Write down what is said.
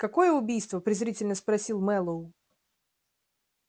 какое убийство презрительно спросил мэллоу